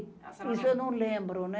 Isso eu não lembro, né.